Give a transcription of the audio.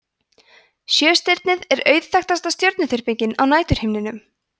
sjöstirnið er auðþekktasta stjörnuþyrpingin á næturhimninum